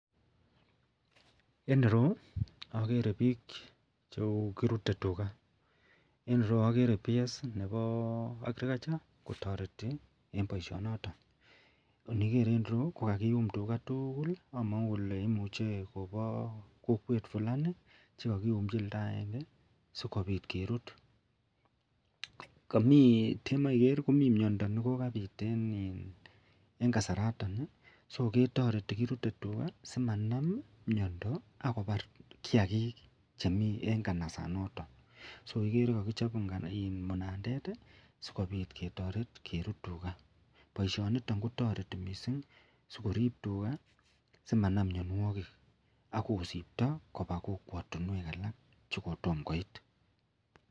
En ireyu agere bik Chemiten Kou kiruten tugaen iruyu agere ps Nebo agriculture kotareti en baishet noton akoniger en ireyu ko kakiyum tuga tugul akamangu Kole imuche Koba kokwet Fulani chekakiyumnchi olda agenge sikobit kerut temiiger komiten miando nekokait en kasaraton (so) kotareti keruten tuga simanam miando akobar kiagik chemi en kanasat noton so igere Kole kakichobmunandet sikobit ketaret kerut tuga ako baishet niton kotareti mising korib Yuga simanam mianwagik akosibtabkoba kokwatinwek alak chekotomo koit.